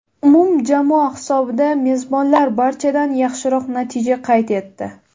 Umumjamoa hisobida mezbonlar barchadan yaxshiroq natija qayd etdi.